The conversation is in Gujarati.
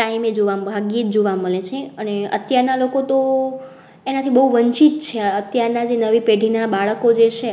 time એ જોવા ભાગ્યજ જોવા મળે છે અને અત્યાર ના લોકો તો એનાથી બહુ વંચિત છે. અત્યારે નવી પેઢી ના બાળકો જે છે